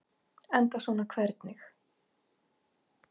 Enda svona hvernig?